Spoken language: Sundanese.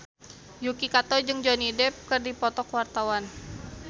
Yuki Kato jeung Johnny Depp keur dipoto ku wartawan